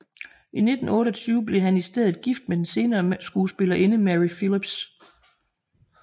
I 1928 blev han i stedet gift med den senere skuespillerinde Mary Philips